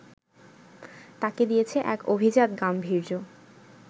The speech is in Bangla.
তাকে দিয়েছে এক অভিজাত গাম্ভীর্য